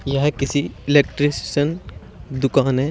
यह किसी इलेक्ट्रिशियन दुकान है।